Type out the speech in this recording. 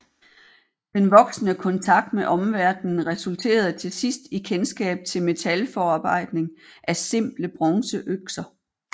Den voksende kontakt med omverdenen resulterede til sidst i kendskab til metalforarbejdning af simple bronzeøkser